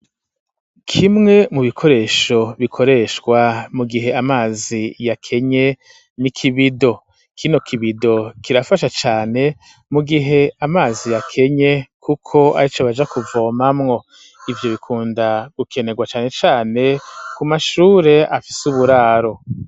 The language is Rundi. Kimwe mu bikoresho bikoreshwa mu gihe amazi ya kenye n'i kibido kino kibido kirafasha cane mu gihe amazi ya kenye, kuko ari co baja kuvomamwo ivyo bikunda gukenerwa cane cane ku mashure afise uburaro.